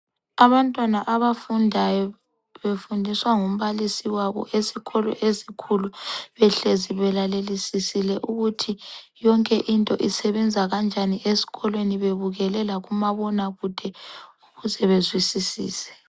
Abantwana abafundayo befundiswa ngumbalisi wabo esikolo esikhulu behlezi belalelisisile ukuthi yonke into isebenza kanjani esikolweni, bebukele lakumabonakude ukuze bezwisisise.